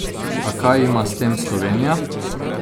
A kaj ima s tem Slovenija?